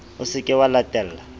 o se ke wa latella